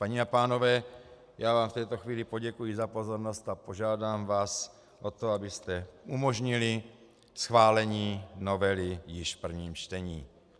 Paní a pánové, já vám v této chvíli poděkuji za pozornost a požádám vás o to, abyste umožnili schválení novely již v prvním čtení.